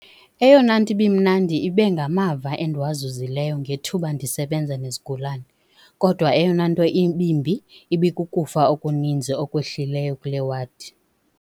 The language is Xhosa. "Eyona nto ibimnandi ibe ngamava endiwazuzi leyo ngethuba ndisebenza nezigulana, kodwa eyona nto ibimbi ibikukufa okuni nzi okwehlileyo kule wadi."